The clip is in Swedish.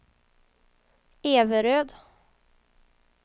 Everöd